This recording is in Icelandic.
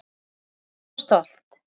Þið megið vera svo stolt.